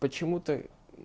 почему-то